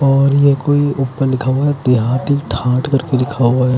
और ये कोई ऊपर लिखा हुआ देहाती ठाठ करके लिखा हुआ है।